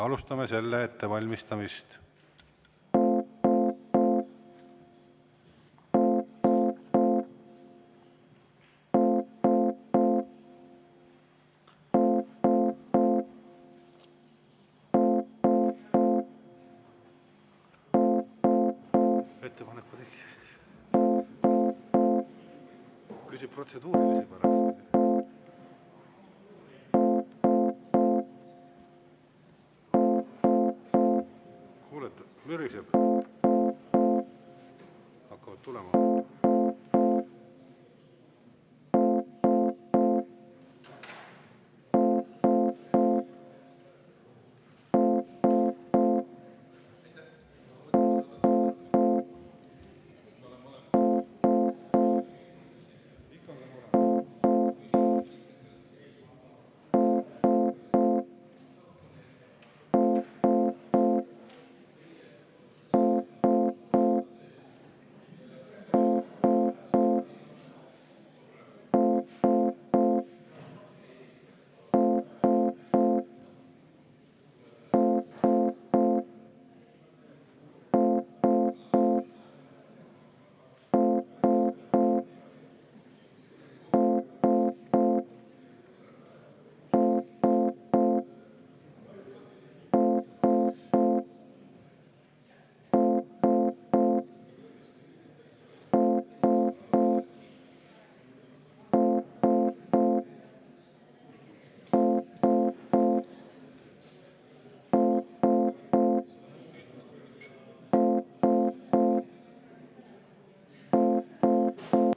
Alustame selle ettevalmistamist.